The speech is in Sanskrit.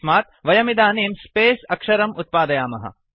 तस्मद् वयमिदानीं स्पेस् अक्षरम् उत्पादयामः